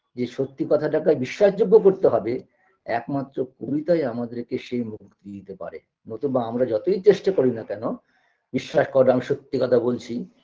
যে সত্যি কথাটাকে বিশ্বাসযোগ্য করতে হবে একমাত্র কবিতাই আমাদেরকে সে মুক্তি দিতে পারে নতুবা আমরা যতই চেষ্টা করি না কেন বিশ্বাস করো আমি সত্যি কথা বলছি